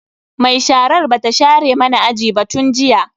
Mai sharar bata share mana aji ba tun jiya.